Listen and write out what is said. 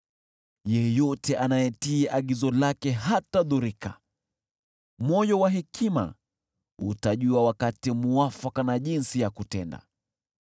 Yeyote anayetii agizo lake hatadhurika, moyo wa hekima utajua wakati muafaka na jinsi ya kutenda.